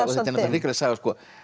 hrikaleg saga